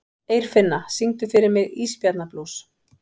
Eirfinna, syngdu fyrir mig „Ísbjarnarblús“.